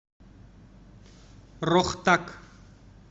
рохтак